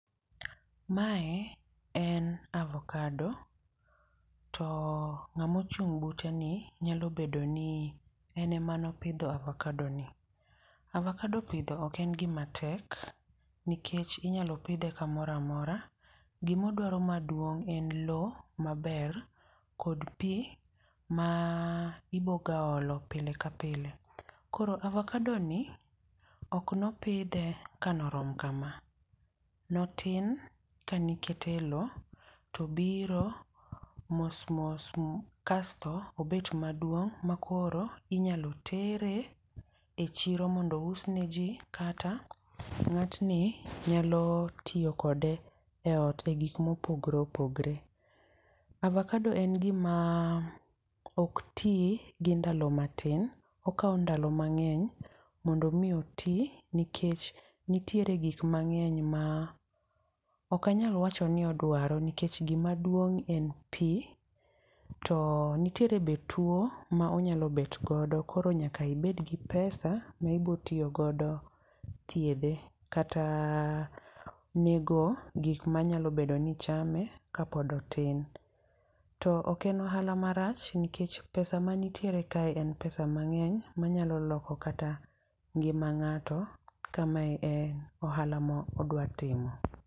Mae en avokado to ng'amo chung' bute ni nyalo bedo ni en emano pidho avokado ni. Avokado pidho ok en gima tek nikech inyalo pidhe kamoro amora. Gimodwaro maduong' en lowo, maber kod pii ma ibogaolo pile ka pile. Koro avokado ni ok nopidhe kanorom kama. Notin, kanikete e lowo, to obiro, mosmos kasto obet maduong' makoro inyalo tere e chiro mondo ousne ji. Kata ng'atni nyalo tiyo kode e ot e gik mopogore opogore. Avokado en gima ok ti gi ndalo matin, okaw ndalo mang'eny mondo mi oti, nikech nitiere gik mang'eny ma, ok anyal wacho ni odwaro. Nikech gima duong' en pii to nitiere be two ma onyalo bet godo koro nyaka ibed gi pesa maibotiyo godo thiedhe kata onego gik manyalo bedo ni chame kapod otin. To oken ohala marach nikech pesa manitiere kae en pesa mang'eny manyalo loko kata ngima ng'ato, kama e ohala mo odwatimo.